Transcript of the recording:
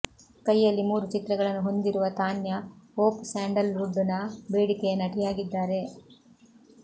ಕೈಯಲ್ಲಿ ಮೂರು ಚಿತ್ರಗಳನ್ನು ಹೊಂದಿರುವ ತಾನ್ಯ ಹೋಪ್ ಸ್ಯಾಂಡಲ್ವುಡ್ ನ ಬೇಡಿಕೆಯ ನಟಿಯಾಗಿದ್ದಾರೆ